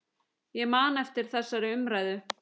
Ég man eftir þessari umræðu.